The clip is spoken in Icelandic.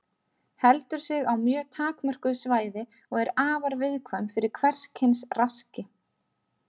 Heldur sig á mjög takmörkuðu svæði og er afar viðkvæm fyrir hvers kyns raski.